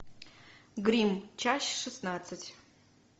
гримм часть шестнадцать